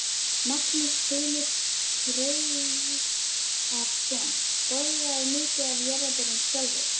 Magnús Hlynur Hreiðarsson: Borðarðu mikið af jarðarberjum sjálfur?